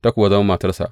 Ta kuwa zama matarsa.